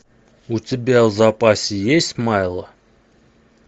у тебя в запасе есть майло